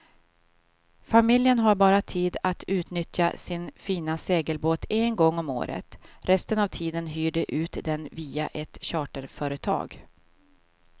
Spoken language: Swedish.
Familjen har bara tid att utnyttja sin fina segelbåt en gång om året, resten av tiden hyr de ut den via ett charterföretag.